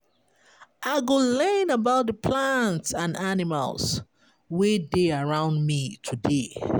I go learn about di plants and animals wey dey around me today.